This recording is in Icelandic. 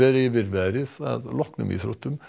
yfir veðrið að loknum íþróttum